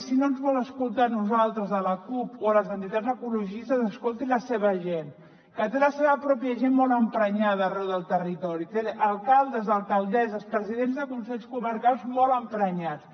si no ens vol escoltar a nosaltres a la cup o a les entitats ecologistes escolti la seva gent que té la seva pròpia gent molt emprenyada arreu del territori té alcaldes alcaldesses presidents de consells comarcals molt emprenyats